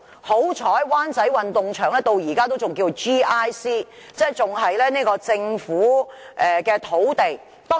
幸好，灣仔運動場到現在仍然屬於 "GIC" 用地，即仍是"政府、機構或社區"用地。